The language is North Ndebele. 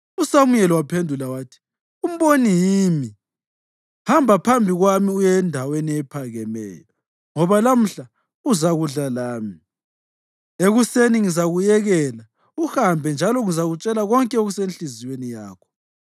USamuyeli waphendula wathi, “Umboni yimi. Hamba phambi kwami uye endaweni ephakemeyo, ngoba lamhla uzakudla lami, ekuseni ngizakuyekela uhambe njalo ngizakutshela konke okusenhliziyweni yakho.